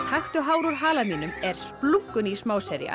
taktu hár úr hala mínum er splunkuný